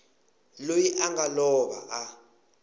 loyi a nga lova a